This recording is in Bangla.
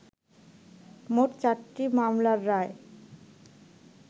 মোট চারটি মামলার রায়